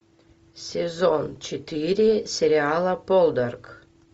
сезон четыре сериала полдарк